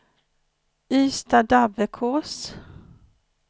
Ystadabbekås